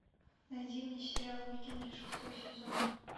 найди мне сериал викинги шестой сезон